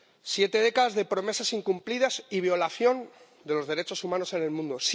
Siete décadas de promesas incumplidas y violación de los derechos humanos en el mundo.